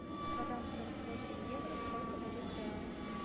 продам сорок восемь евро сколько дадут реалов